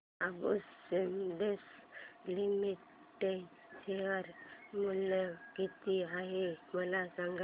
Ambuja cements limited share मूल्य किती आहे मला सांगा